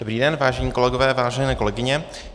Dobrý den, vážení kolegové, vážené kolegyně.